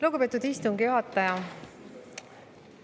Lugupeetud istungi juhataja!